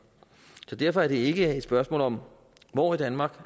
derfor er det ikke et spørgsmål om hvor i danmark